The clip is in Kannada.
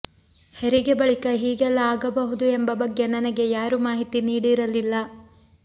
ಹೆರಿಗೆ ಬಳಿಕ ಹೀಗೆಲ್ಲ ಆಗಬಹುದು ಎಂಬ ಬಗ್ಗೆ ನನಗೆ ಯಾರೂ ಮಾಹಿತಿ ನೀಡಿರಲಿಲ್ಲ